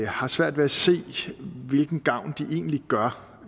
har svært ved at se hvilken gavn de egentlig gør